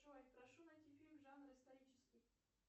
джой прошу найти фильм жанр исторический